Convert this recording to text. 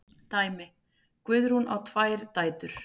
Dæmi: Guðrún á tvær dætur.